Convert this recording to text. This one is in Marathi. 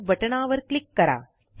सेव्ह बटणावर क्लिक करा